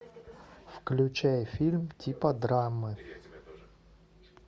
включай фильм типа драмы